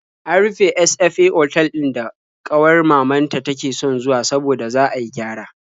An rufe sfa otal ɗin da ƙawar mamanta take son zuwa saboda za a yi gyara.